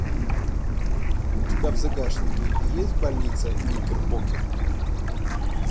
у тебя в загашнике есть больница никербокер